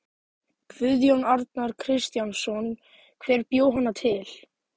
Guðjón Arnar Kristjánsson: Hver bjó hana til?